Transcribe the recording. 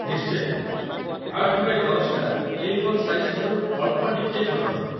ନିଶ୍ଚୟ, ୮x୧୦ ଟା 'ଏ. ଫୋର୍‌ ସାଇଜ୍‌‌' ଠାରୁ ଅଳ୍ପ ଟିକିଏ ଛୋଟ ହେବ ।